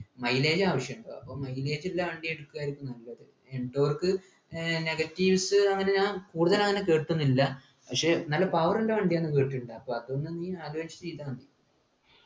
mileage ആവശ്യമുണ്ട് അപ്പൊ mileage ഉള്ള വണ്ടി എടുക്കായിരിക്കും നല്ലത് endork ഏർ negatives അങ്ങനെ ഞാൻ കൂടുതലങ്ങനെ കേട്ടിട്ടൊന്നുല്ല ക്ഷേ നല്ല power ഉള്ള വണ്ടിയാണ് ന്ന് കേട്ടിട്ടുണ്ട് അപ്പൊ അതൊന്ന് നീ ആലോചിച്ചിട്ട് ചെയ്താ മതി